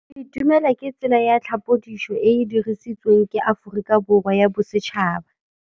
Go itumela ke tsela ya tlhapolisô e e dirisitsweng ke Aforika Borwa ya Bosetšhaba.